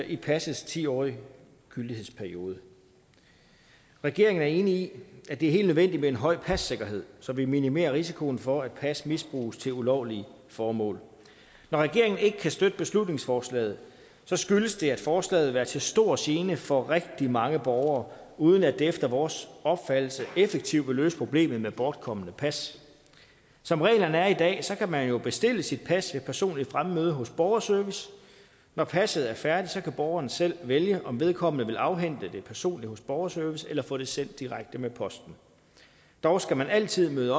i passets ti årige gyldighedsperiode regeringen er enig i at det er helt nødvendigt med en høj passikkerhed så vi minimerer risikoen for at pas misbruges til ulovlige formål når regeringen ikke kan støtte beslutningsforslaget skyldes det at forslaget vil være til stor gene for rigtig mange borgere uden at det efter vores opfattelse effektivt vil løse problemet med bortkomne pas som reglerne er i dag kan man jo bestille sit pas ved personligt fremmøde hos borgerservice når passet er færdigt kan borgeren selv vælge om vedkommende vil afhente det personligt hos borgerservice eller få det sendt direkte med posten dog skal man altid møde